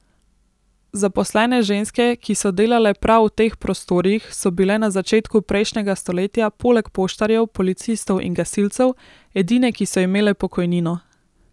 Zaposlene ženske, ki so delale prav v teh prostorih, so bile na začetku prejšnjega stoletja poleg poštarjev, policistov in gasilcev edine, ki so imele pokojnino.